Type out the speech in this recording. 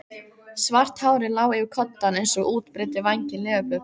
Svart hárið lá yfir koddann eins og útbreiddir vængir leðurblöku.